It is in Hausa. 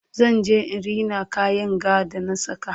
zan je in Rina kayan ga da na saka